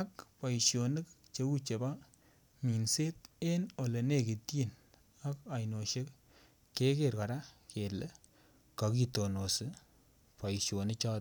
ak boisionik cheu chebo minset en olenekityin ak ainosiek keker kele kokitonosi boisionichoton.